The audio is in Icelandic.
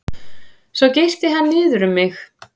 Svo girti hann niður um mig.